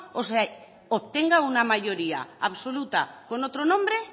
o se obtenga una mayoría absoluta con otro nombre